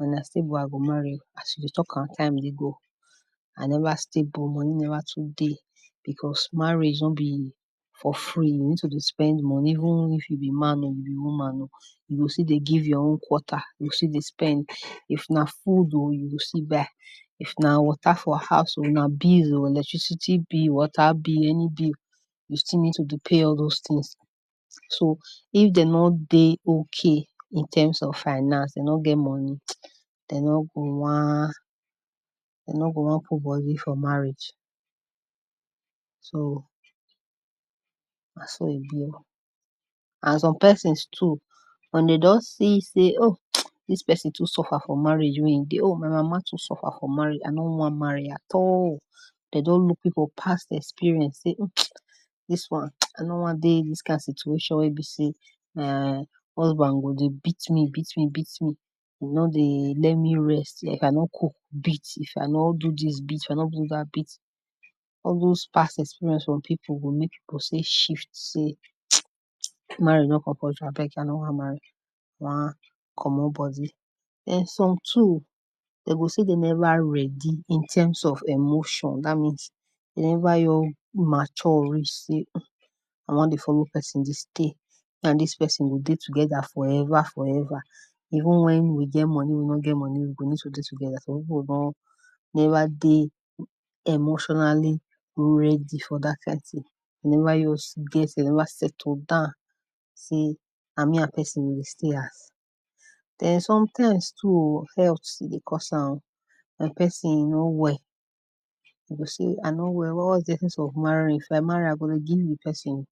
Wen I stable I go marry, as we dey talk am, time dey go, I never stable, money never too dey because marriage no be for free we need to dey spend money, even if you be man oh, you be woman oh, you still dey give your own quota, you go dey spend if na food oh, you go still buy, if na water for house oh, if na bill oh, electricity bill,, water bill any bill, you still need to dey pay all doz things, so if dem nor dey okay in terms of finance, dem nor get money, dem nor go wan, dem nor go wan put body for marriage. So na so e be oh, and some persons too, once dem don see sey oh, dis person too suffere for marriage wey im dey, oh my mama too suffer for marriage I nor wan marry at all, dem don look people past experience sey dis one, I nor wan dey dis kind situation wen be sey [urn] husband go dey beat me, beat me, beat me, e nor dey let me rest sef. If I no cook beat, if I no do dis one beat, if I no do dat beat, all doz past experience for people go make people sey, marriage nor compulsory abeg, I nor wan marry, I wan komot body. Den some too dem go sey dem never ready in terms of emotion, dat means dem never just mature reach sey I wan dey follow person dey stay, me and dis person we go dey together forever, forever even wen we get money we no get money we go need to dey together, some people come never dey emotionally ready for dat kind thing, dem never even, dem never settle down sey na me and person go stay house. Den sometimes too oh, health dey cause am oh, some person no well, dem go sey I no wan marry if I marry I go dey give di person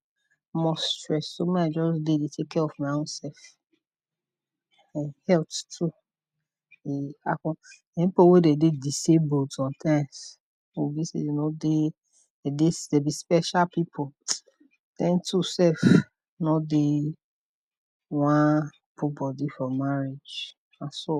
more stress oh, make I just dey take care of my own self, health too dey affect, some people wey dey disable sometimes go feel sey dem nor dey, dem be special people, dem too sef nor dey wan put body for marriage na so.